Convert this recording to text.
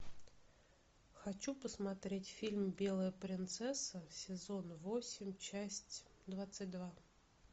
хочу посмотреть фильм белая принцесса сезон восемь часть двадцать два